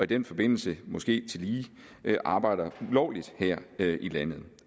den forbindelse måske tillige arbejder ulovligt her i landet